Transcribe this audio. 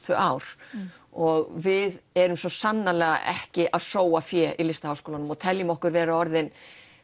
tvö ár og við erum svo sannarlega ekki að sóa fé í LHÍ og við teljum okkur orðin